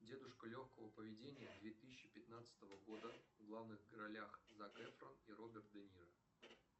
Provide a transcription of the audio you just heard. дедушка легкого поведения две тысячи пятнадцатого года в главных ролях зак эфрон и роберт де ниро